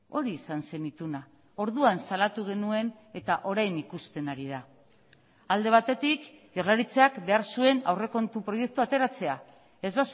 hori izan zen ituna orduan salatu genuen eta orain ikusten ari da alde batetik jaurlaritzak behar zuen aurrekontu proiektua ateratzea ez